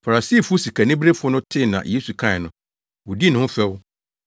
Farisifo sikaniberefo no tee nea Yesu kae no, wodii ne ho fɛw.